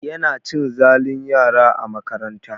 Yana cin zalun yara a makaranta.